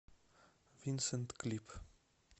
винсент клип